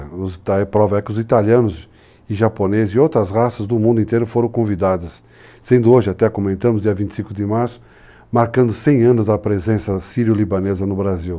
A prova é que os italianos, japoneses e outras raças do mundo inteiro foram convidados, sendo hoje, até, como comentamos, dia 25 de março, marcando 100 anos da presença sírio-libanesa no Brasil.